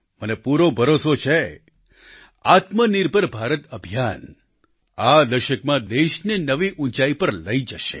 મને પૂરો ભરોસો છે આત્મનિર્ભર ભારત અભિયાન આ દશકમાં દેશને નવી ઉંચાઈ પર લઈ જશે